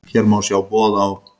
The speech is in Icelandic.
Hér má sjá boð á